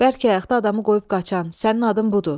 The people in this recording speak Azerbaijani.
Bəlkə ayaqda adamı qoyub qaçan sənin adın budur.